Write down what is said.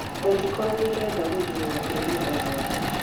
Ungĩkorwo nĩurenda gũthurwo gaturwainĩ o gothe